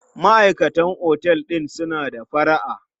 Maʼaikatan otel din suna da fara'a.